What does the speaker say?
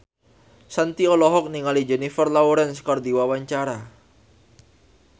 Shanti olohok ningali Jennifer Lawrence keur diwawancara